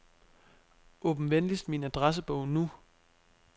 Åbn venligst min adressebog nu.